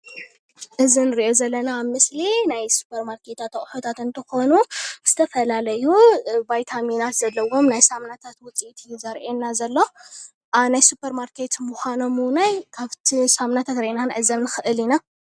እዚ እንሪኦ ዘለና ምስሊ ናይ ሱፐርማርታት ኣቁሑታት እንትኮን ዝተፈላለዩ ቫይታሚናት ዘለዎ ናይ ሳምናታት ውፅኢት እዩ ዘሪኤና ዘሎ። ናይ ሱፐርማርኬት ምዃኖም እውነይ ካብ'ቲ ሳምናታት ሪኢና ክንዕዘብ ንክእል ኢና።